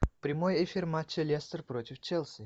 прямой эфир матча лестер против челси